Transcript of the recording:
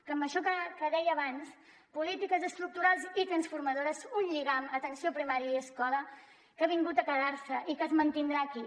amb això que deia abans polítiques estructurals i transformadores un lligam entre atenció primària i escola que ha vingut a quedar se i que es mantindrà aquí